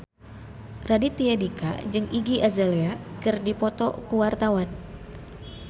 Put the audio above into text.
Raditya Dika jeung Iggy Azalea keur dipoto ku wartawan